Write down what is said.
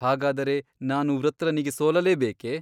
ಹಾಗಾದರೆ ನಾನು ವೃತ್ರನಿಗೆ ಸೋಲಲೇಬೇಕೆ ?